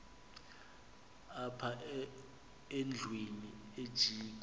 apha endlwini ajikwa